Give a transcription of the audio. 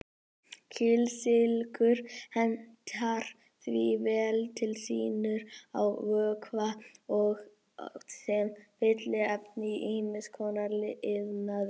Kísilgúr hentar því vel til síunar á vökva og sem fylliefni í ýmis konar iðnaði.